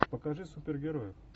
покажи супергероев